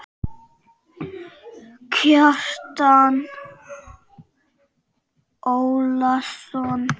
Kjartan Ólason